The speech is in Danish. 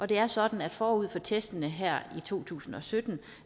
det er sådan at forud for testene her i to tusind og sytten